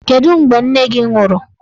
Kedụ mgbe nne gị nwụrụ?